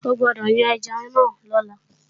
O gbódọ̀ yan ẹja náà lọ́la!